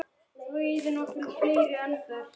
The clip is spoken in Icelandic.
Blandað vel saman.